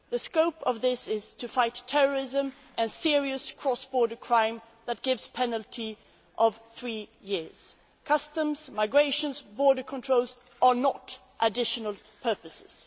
The scope of this is to fight terrorism and serious cross border crime, which carries a penalty of three years. Customs, migration and border controls are not additional purposes.